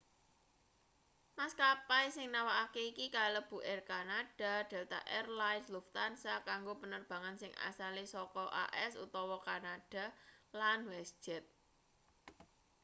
maskapai sing nawakake iki kalebu air canada delta air lines lufthansa kanggo penerbangan sing asale saka as utawa kanada lan westjet